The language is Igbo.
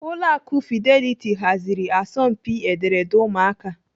Ụlọ akụ Fidelity haziri asọmpi ederede ụmụakwụkwọ.